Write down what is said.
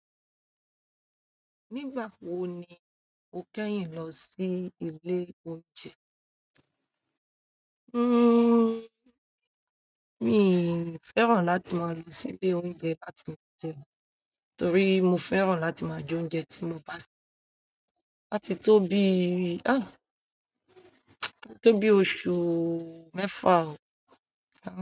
Nígbà wo ni o kẹ́yìn lọ sí ilé oúnjẹ? Hmm mi fẹ́ràn láti má lọ sí ilé oúnjẹ láti lọ jẹun torí mo fẹ́ràn láti ma jẹ́ oúnjẹ tí mo bá ṣe. Àti tóbi oṣù mẹ́fà o.